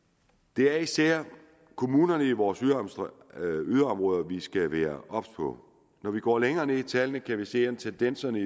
det er især kommunerne i vores yderområder vi skal være obs på når vi går længere ned i tallene kan vi se at tendenserne